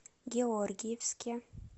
георгиевске